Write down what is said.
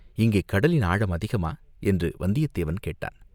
"இங்கே கடலின் ஆழம் அதிகமா?" என்று வந்தியத் தேவன் கேட்டான்.